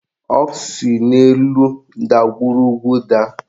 O si n'elu ndagwurugwu daa